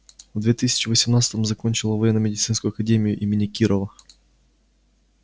в две тысячи восемнадцатом закончила военно-медицинскую академию имени кирова